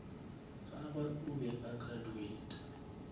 gagwe o be a graduata